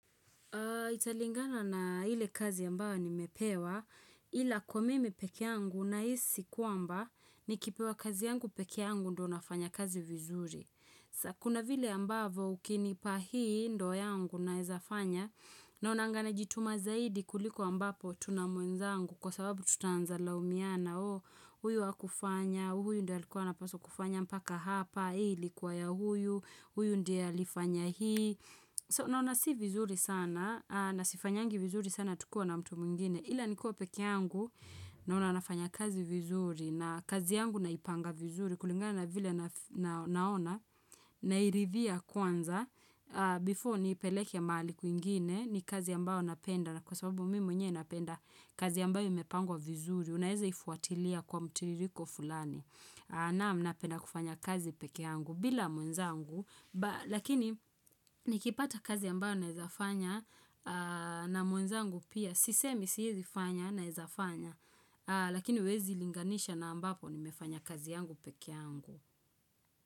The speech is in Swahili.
Ita lingana na hile kazi yambawa ni mepewa ila kwa mimi pekee yangu na hisi kuamba ni kipewa kazi yangu pekee yangu ndo nafanya kazi vizuri. Kuna vile ambavo ukinipa hii ndo ya angu na heza fanya na unangana jituma zaidi kulikuwa mbapo tuna muenza angu kwa sababu tutanza laumiana o huyu wa kufanya, huyu ndi alikuwa na paso kufanya mpaka hapa, hii likuwa ya huyu, huyu ndi alifanya hii. So, naona si vizuri sana, na sifanyangi vizuri sana tukua na mtu mungine. Hila nikuwa peke yangu, naona nafanya kazi vizuri, na kazi yangu naipanga vizuri, kulingana na vile naona, nairivia kwanza, before niipeleke maali kuingine, ni kazi yamba wanapenda, na kwa sababu mimi mwenye inapenda kazi yamba imepangwa vizuri, unaeza ifuatilia kwa mtiririko fulani. Na mnape na kufanya kazi peke angu bila mwenzangu, lakini nikipata kazi ambayo naizafanya na mwenzangu pia, sisemi siyezi fanya naizafanya, lakini wezi linganisha na ambapo ni mefanya kazi angu peke angu.